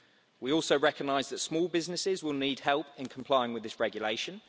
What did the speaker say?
We also recognise that small businesses will need help in complying with this regulation.